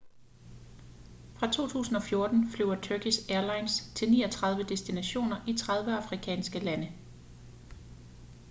fra 2014 flyver turkish airlines til 39 destinationer i 30 afrikanske lande